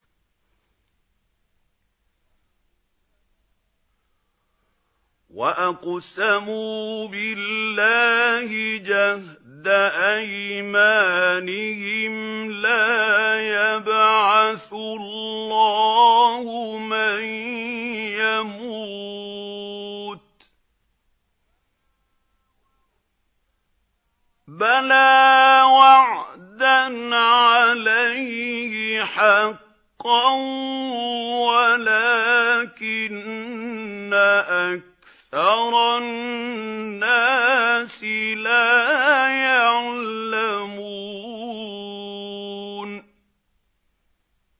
وَأَقْسَمُوا بِاللَّهِ جَهْدَ أَيْمَانِهِمْ ۙ لَا يَبْعَثُ اللَّهُ مَن يَمُوتُ ۚ بَلَىٰ وَعْدًا عَلَيْهِ حَقًّا وَلَٰكِنَّ أَكْثَرَ النَّاسِ لَا يَعْلَمُونَ